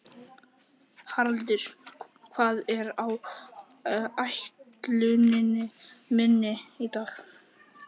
Haraldur, hvað er á áætluninni minni í dag?